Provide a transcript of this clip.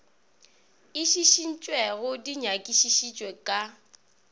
e šišintšwego di nyakišišitšwe ka